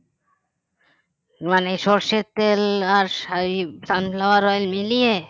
মানে সর্ষের তেল আর soybean sunflower oil মিলিয়ে